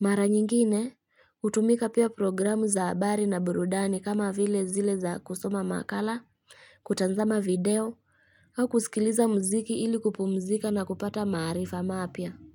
Mara nyingine, hutumika pia programu za habari na burudani kama vile zile za kusoma makala, kutanzama video, au kusikiliza muziki ili kupumzika na kupata maarifa mapya.